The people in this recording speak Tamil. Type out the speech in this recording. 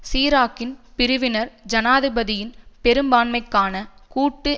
சிராக்கின் பிரிவினர் ஜனாதிபதியின் பெரும்பான்மைக்கான கூட்டு